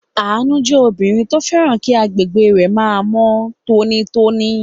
Àánú jẹ́ obìnrin tó fẹ́ràn kí agbègbè rẹ̀ máa mọ́ tónítóní.